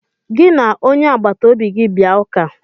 Gị na onye agbata obi gị bịa ụka!